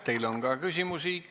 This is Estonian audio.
Teile on ka küsimusi.